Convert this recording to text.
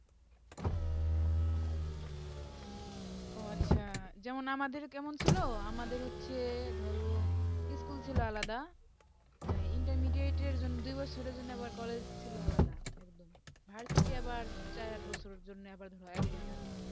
ওহ আচ্ছা যেমন আমাদের কেমন ছিল আমাদের হচ্ছে ধরো school ছিল আলাদা intermediate র জন্য দিবসের জন্য আবার college হো ছিল আলাদাএকদম varsity আবার চাই আবার সূর্য জন্যে আবার একদম আলাদা